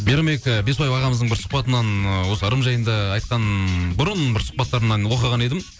мейрамбек ы беспаева ағамыздың бір сұхбатынан ы осы ырым жайында айтқан бұрын бір сұхбаттарынан оқыған едім